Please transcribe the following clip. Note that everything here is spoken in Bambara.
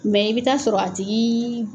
Mɛ i bɛ taa sɔrɔ a tigi